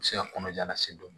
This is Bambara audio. U bɛ se ka kɔnɔja lase dɔn